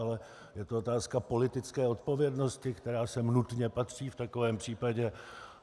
Ale je to otázka politické odpovědnosti, která sem nutně patří v takovém případě.